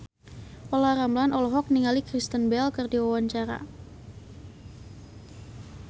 Olla Ramlan olohok ningali Kristen Bell keur diwawancara